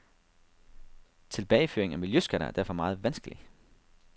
Tilbageføring af miljøskatter er derfor meget vanskelig.